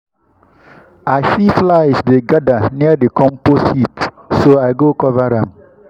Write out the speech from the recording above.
i see flies dey gather near the compost heap so i go cover am.